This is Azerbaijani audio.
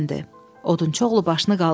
Odunçu oğlu başını qaldırdı.